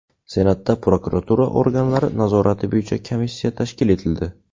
Senatda prokuratura organlari nazorati bo‘yicha komissiya tashkil etildi.